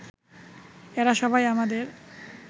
এরা সবাই আমাদের